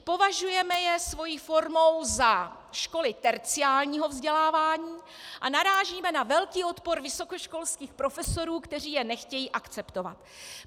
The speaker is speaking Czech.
Považujeme je jejich formou za školy terciárního vzdělávání a narážíme na velký odpor vysokoškolských profesorů, kteří je nechtějí akceptovat.